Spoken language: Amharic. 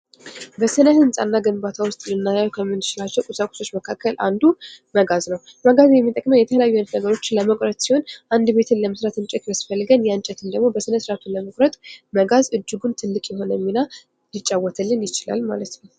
በስነ ህንጻና ግንባታ ውስጥ ልናየው ከምንችላቸው ቁሳቁሶች መካከል አንዱ መጋዝ ነው። መጋዝ የሚጠቅመው የተለያዩ አይነት ነገሮችን ለመቁረጥ ሲሆን አንድ ቤትን ለመስራት እንጨት ቢያስፈልገን ያ እንጨት ደግሞ በስነስርዓቱ ለመቁረጥ መጋዝ እጅጉን ትልቅ የሆነ ሚና ሊጫዎትልን ይችላል ማለት ነው።